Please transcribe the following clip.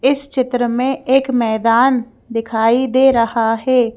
इस चित्र में एक मैदान दिखाई दे रहा है।